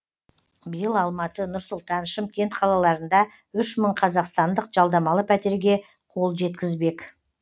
биыл алматы нұр сұлтан шымкент қалаларында үш мың қазақстандық жалдамалы пәтерге қол жеткізбек